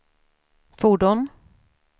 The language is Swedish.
fordon